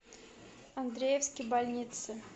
андреевские больницы